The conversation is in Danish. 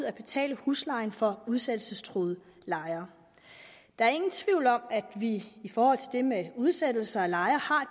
at betale huslejen for udsættelsestruede lejere der er ingen tvivl om at vi i forhold til det med udsættelse af lejere har